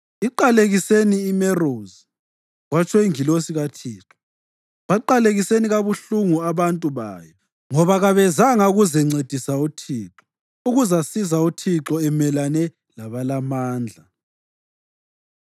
‘Iqalekiseni iMerozi,’ kwatsho ingilosi kaThixo, ‘Baqalekiseni kabuhlungu abantu bayo, ngoba kabezanga ukuzencedisa uThixo, ukuzasiza uThixo emelane labalamandla.’